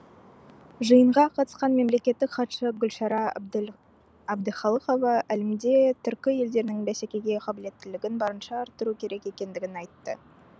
жиынға қатысқан мемлекеттік хатшы гүлшара әбдіхалықова әлемде түркі елдерінің бәсекеге қабілеттілігін барынша арттыру керек екендігін айтты